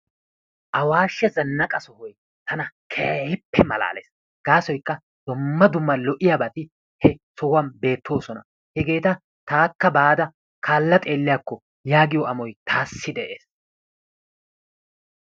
Awaashe zanaqqa sohoy tana keehiippe malaalees gaasoykka dumma dumma lo'iyaabati he sohuwaan beettoosona. Hegeeta taakka baada kaalla xeelliyakko yaagiyo amoy taassi de'ees.